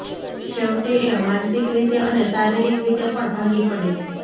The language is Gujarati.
છેવટે એ માનસિક રીતે અને શારીરિક રીતે પણ ભાંગી પડે